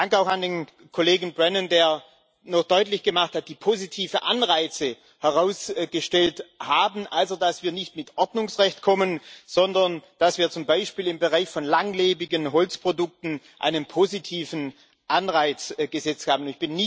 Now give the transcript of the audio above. Dank auch an den Kollegen Brannen, der noch deutlich gemacht hat, dass wir die positiven Anreize herausgestellt haben, also dass wir nicht mit Ordnungsrecht kommen, sondern dass wir zum Beispiel im Bereich von langlebigen Holzprodukten einen positiven Anreiz gesetzt haben.